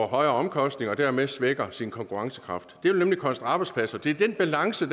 højere omkostninger og dermed svækker sin konkurrencekraft det vil nemlig koste arbejdspladser det er den balance